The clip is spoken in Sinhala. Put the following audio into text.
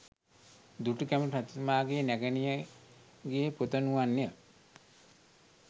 දුටුගැමුණු රජතුමාගේ නැගණියගේ පුතනුවන් ය.